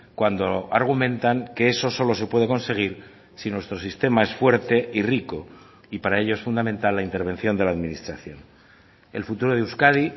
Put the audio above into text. cuando argumentan que eso solo se puede conseguir si nuestro sistema es fuerte y rico y para ello es fundamental la intervención de la administración el futuro de euskadi